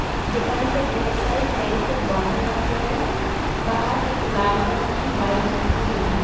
दुकान पे ढेर सारे तेल के बोटल रखे हैं बाहर एक लाल कलर की बाईक रखी हुई है।